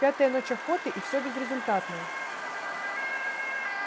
пятая ночь охоты и все безрезультатно